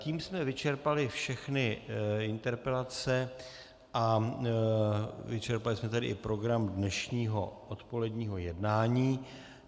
Tím jsme vyčerpali všechny interpelace a vyčerpali jsme tedy i program dnešního odpoledního jednání.